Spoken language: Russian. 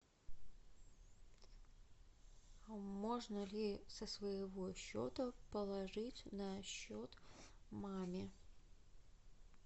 можно ли со своего счета положить на счет маме